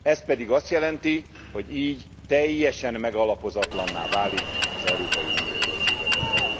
Ez pedig azt jelenti, hogy így teljesen megalapozatlanná válik az Európai Unió költségvetése.